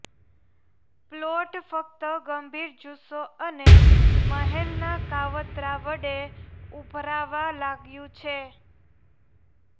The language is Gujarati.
પ્લોટ ફક્ત ગંભીર જુસ્સો અને મહેલના કાવતરાં વડે ઉભરાવા લાગ્યું છે